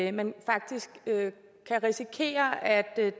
at man faktisk kan risikere at